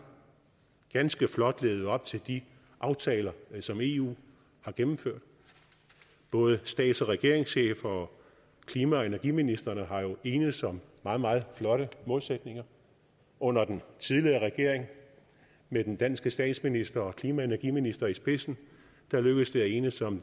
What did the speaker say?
ganske flot levet op til de aftaler som eu har gennemført både stats og regeringscheferne og klima og energiministrene er jo enedes om meget meget flotte målsætninger under den tidligere regering med den danske statsminister og klima og energiminister i spidsen lykkedes det at enes om